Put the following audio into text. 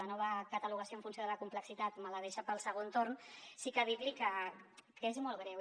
la nova catalogació en funció de la complexitat me la deixa per al segon torn sí que vull dir li que és molt greu